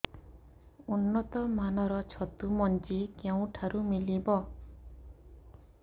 ଉନ୍ନତ ମାନର ଛତୁ ମଞ୍ଜି କେଉଁ ଠାରୁ ମିଳିବ